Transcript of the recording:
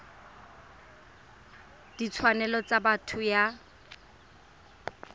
ya ditshwanelo tsa botho ya